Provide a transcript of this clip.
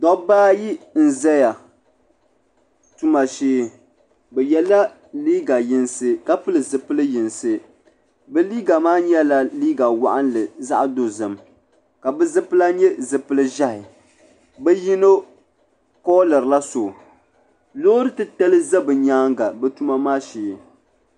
Dabba ayi n zaya tuma shee bi yela liiga yinsi ka pili zipil yinsi bɛ liiga maa nyɛla liiga waɣinli ka nyɛ zaɣa dozim ka bi zipila nyɛ zipil ʒehi bi yino kooliri la so loori titali za bɛ nyaanga tuma maa shee.